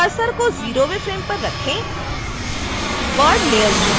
cursor को 0वें frame पर रखें bud लेयर चुनें